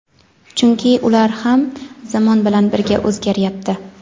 Chunki ular ham zamon bilan birga o‘zgaryapti.